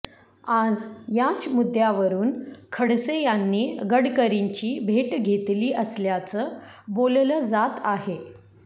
आज याच मुद्द्यावरुन खडसे यांनी गडकरींची भेट घेतली असल्याचं बोललं जात आहे